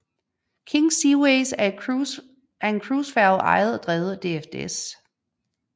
King Seaways er en cruisefærge ejet og drevet af DFDS